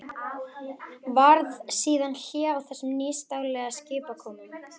Varð síðan hlé á þessum nýstárlegu skipakomum.